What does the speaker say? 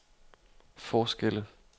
forskelle